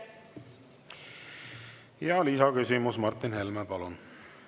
Lisaküsimus, Martin Helme, palun!